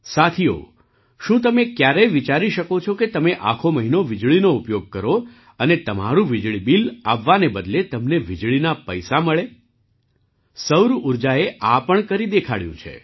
સાથીઓ શું તમે ક્યારેય વિચારી શકો છો કે તમે આખો મહિનો વીજળીનો ઉપયોગ કરો અને તમારું વીજળી બિલ આવવાના બદલે તમને વીજળીના પૈસા મળે સૌર ઊર્જાએ આ પણ કરી દેખાડ્યું છે